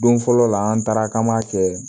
Don fɔlɔ la an taara k'an b'a kɛ